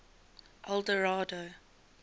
eldorado